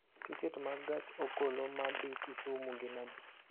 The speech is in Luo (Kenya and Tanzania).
tiket mag gach okoloma dhi kisumu gin adi